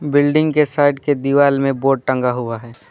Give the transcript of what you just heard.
Building के side के दीवाल में बोर्ड टंगा हुआ है।